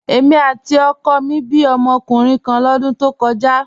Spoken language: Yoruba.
Èmi àti ọkọ mi bí ọmọkùnrin kan lọ́dún tó kọjá.